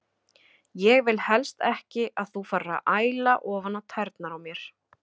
Ég vil helst ekki að þú farir að æla ofan á tærnar á mér.